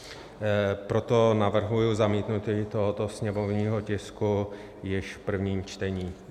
Proto navrhuji zamítnutí tohoto sněmovního tisku již v prvním čtení.